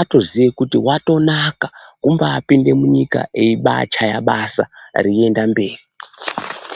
atoziye kuti watonaka wambapinde munyika eibachaya basa teienda mberi.